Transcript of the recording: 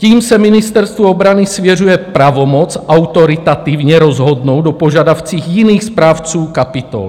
Tím se Ministerstvu obrany svěřuje pravomoc autoritativně rozhodnout o požadavcích jiných správců kapitol.